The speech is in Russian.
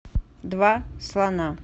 два слона